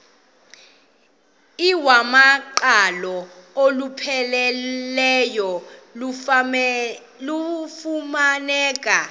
iwamaqhalo olupheleleyo lufumaneka